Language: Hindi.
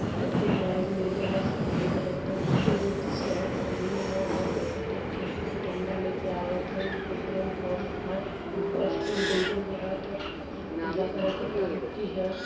होसन के बेग ले ले ह सफ़ेद रंग का सेट पहेने ले ह ओहर देख त एक ठे आदमी डंडा लेके आवत ह। पेट्रोल पंप ह। बस में डीजल भरा ता। पी पीला कलर का टंकी ह।